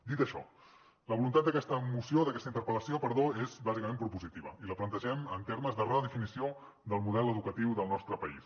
dit això la voluntat d’aquesta interpel·lació és bàsicament propositiva i la plantegem en termes de redefinició del model educatiu del nostre país